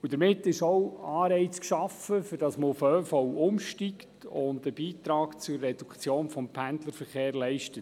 Damit ist auch ein Anreiz geschaffen, dass man auf den ÖV umsteigt und einen Beitrag zur Reduktion des Pendlerverkehrs leistet.